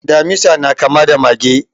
Damisa na kama da mage.